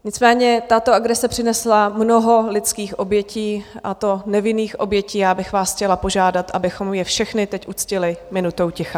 Nicméně tato agrese přinesla mnoho lidských obětí, a to nevinných obětí, já bych vás chtěla požádat, abychom je všechny teď uctili minutou ticha.